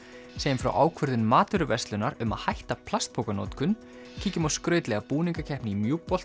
segjum frá ákvörðun matvöruverslunar um að hætta plastpokanotkun kíkjum á skrautlega búningakeppni í